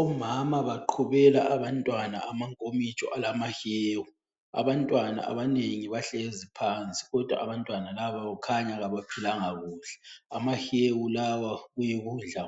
Omama baqhubela abantwana amankomitsho alamahewu. Abantwana abanengi bahlezi phansi kodwa abantwana laba kukhanya kabaphilanga kuhle. Amahewu lawa kuyikudla